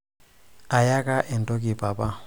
ayaka entoki papa